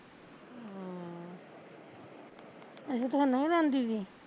ਅੱਛਾ ਥੋਨੂੰ ਬਲਾਂਦੀ ਤੀ